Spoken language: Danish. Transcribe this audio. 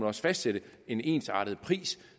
også fastsætte en ensartet pris